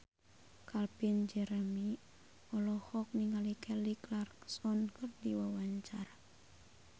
Calvin Jeremy olohok ningali Kelly Clarkson keur diwawancara